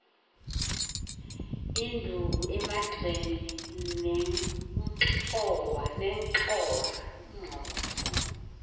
induku emagxeni nenxhowa